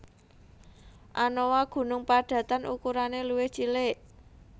Anoa gunung padatan ukurane luwih cilik